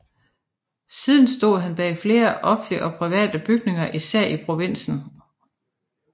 Siden stod han bag flere offentlige og private bygninger især i provinsen